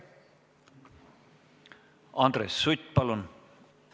Andres Sutt, palun!